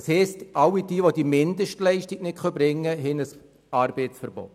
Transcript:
Das heisst, all jene, die diese Mindestleistung nicht erbringen können, unterliegen einem Arbeitsverbot.